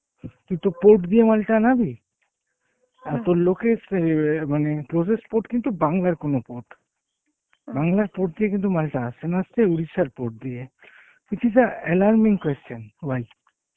তুই তো port দিয়ে মালটা অনাবি তোর locates এএর মানে closest port কিন্তু বাংলার কোনো port, বাংলার port দিয়ে কিন্তু মালটা আসছে না আসছে Orissa র port দিয়ে, which is a alarming question, why?